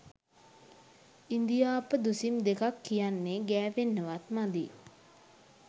ඉඳිආප්ප දුසිම් දෙකක් කියන්නෙ ගෑවෙන්නවත් මදි